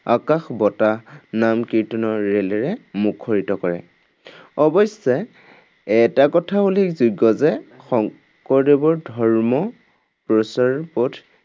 আকাশ বতাহ নাম-কীৰ্তনৰ ৰেলেৰে মুখৰিত কৰে। অৱশ্যে, এটা কথা উল্লেখযোগ্য যে শংকৰদেৱৰ ধৰ্ম প্ৰচাৰ পথ